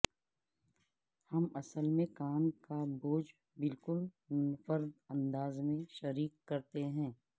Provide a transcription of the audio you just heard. ہم اصل میں کام کا بوجھ بالکل منفرد انداز میں شریک کرتے ہیں